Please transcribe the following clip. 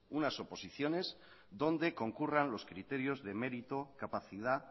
unas oposiciones donde concurran los criterios de mérito capacidad